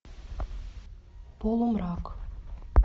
полумрак